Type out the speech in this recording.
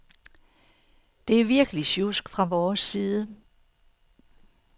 Det er virkelig sjusk fra vores side.